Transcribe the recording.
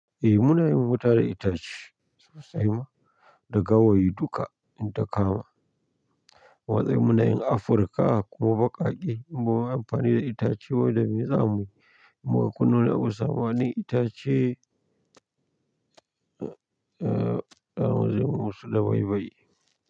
Eh, munayin wuta da itace sosai ma, da gawayi duka in ta kama. Wasu munayin Afrika kuma baƙaƙe, munyi amfani da itace wanda me zamuyi, muka nuna wa samanin itace, eh, za mu jeml mu musu dabaibayi.